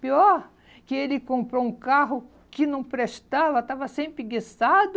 Pior que ele comprou um carro que não prestava, estava sempre guiçado.